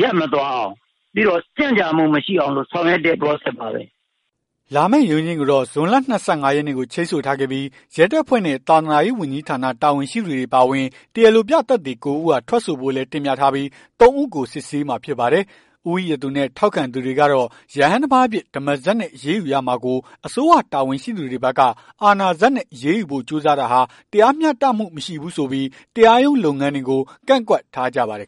ရပ်မသွားအောင် ပြီးတော့ ကြန့်ကြာမှုမရှိအောင် လို့ဆောင်ရွက်တဲ့ Process ပါပဲ" လာမယ့် ရုံးချိန်းကိုတော့ ဇွန်လ ၂၅ ရက်နေ့ကို ချိန်းဆိုထားခဲ့ပြီး ရဲတပ်ဖွဲ့နဲ့ သာသနာရေးဝန်ကြီးဌာန တာဝန်ရှိသူတွေ အပါအဝင် တရားလိုပြသက်သေ ၉ ဦးက ထွက်ဆိုဖို့လည်း တင်ပြထားပြီး ၃ ဦးကို စစ်ဆေးမှာဖြစ်ပါတယ်။ ဦးဝီရသူနဲ့ ထောက်ခံသူတွေကတော့ ရဟန်းတပါးအဖြစ် ဓမ္မစက်နဲ့ အရေးယူရမှာကို အစိုးရတာဝန်ရှိသူတွေဘက်က အာဏာစက်နဲ့ အရေးယူဖို့ ကြိုးစားတာဟာ တရားမျှတမှု မရှိဘူးဆိုပြီး တရားရုံးလုပ်ငန်းတွေကို ကန့်ကွက်ထားကြပါတယ်